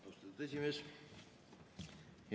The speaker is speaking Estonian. Austatud esimees!